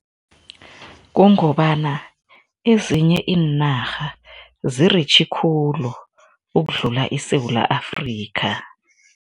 Kungobana ezinye iinarha ziritjhi khulu ukudlula iSewula Afrika.